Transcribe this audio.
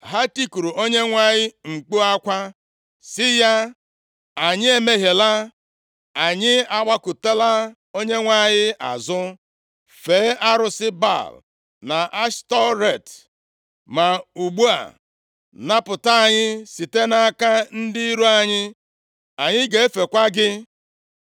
Ha tikuru Onyenwe anyị mkpu akwa, sị ya, ‘Anyị emehiela, + 12:10 \+xt Nkp 10:10\+xt* anyị agbakụtala + 12:10 \+xt Nkp 2:13; 3:7\+xt* Onyenwe anyị azụ, fee arụsị Baal na Ashtọret. Ma ugbu a, napụta anyị site nʼaka ndị iro anyị, anyị ga-efekwa gị.’